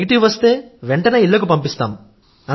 negative వస్తే వెంటనే ఇళ్లకు పంపిస్తాం